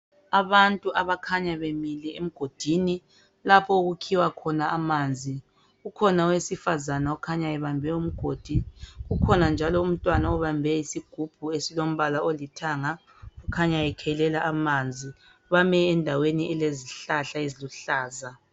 Abantu abakhanya bemile emgodini lapho okukhiwa khona amanzi ukhona owesifazana okhanya ebambe umgodi ukhona njalo umntwana obambe isigubhu esilombala olithanga ukhanya ekhelela amanzi. Bame endaweni elezihlahla eziluhlaza.